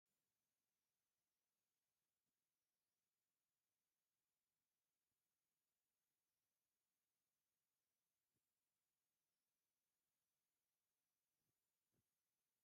ኣብታ ታሪካዊትን ውቅብትን ሃይማኖታውትን ዝኮነ ከተማ ኣክሱም ዝርከብ ኮይኑ ኣብ ውሽጡ ድማ ዝተፈላለየ ቅርስታት ሒዙ ኣሎ። እንታይ እንታይ እዮም እቶም ቅርስታት?